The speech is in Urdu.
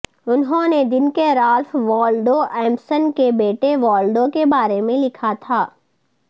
انہوں نے دن کے رالف والڈو ایمسن کے بیٹے والڈو کے بارے میں لکھا تھا